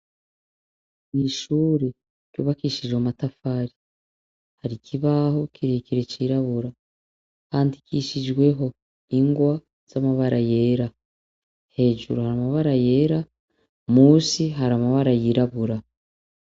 Ishure ryubakishije amatafari, hari ikibaho kirekire cirabura, handikishijweho ingwa z'amabara yera. Hejuru hari amabara yera, musi hari amabara yirabura.